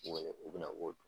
U wele u be na